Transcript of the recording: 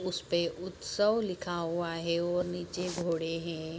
उसपे उत्सव लिखा हुवा हे और निचे घोड़े है।